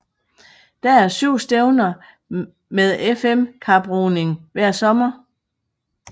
Der er syv stævner med FM kaproning hver sommer